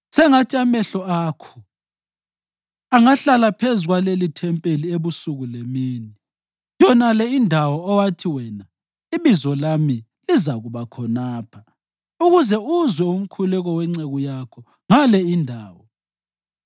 Sengathi amehlo akho angahlala phezu kwalelithempeli ebusuku lemini, yonale indawo owathi wena, ‘IBizo lami lizakuba khonapha,’ ukuze uzwe umkhuleko wenceku yakho ngale indawo.